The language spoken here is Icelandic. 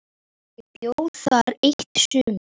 Ég bjó þar eitt sumar.